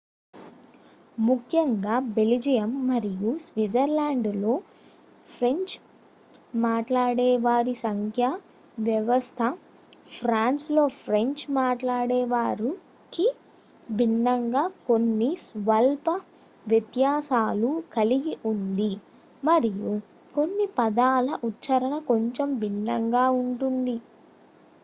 ముఖ్యంగా బెల్జియం మరియు స్విట్జర్లాండ్లో ఫ్రెంచ్ మాట్లాడేవారి సంఖ్యా వ్యవస్థ ఫ్రాన్స్లో ఫ్రెంచ్ మాట్లాడేవారికి భిన్నంగా కొన్ని స్వల్ప వ్యత్యాసాలు కలిగి ఉంది మరియు కొన్ని పదాల ఉచ్చారణ కొంచెం భిన్నంగా ఉంటుంది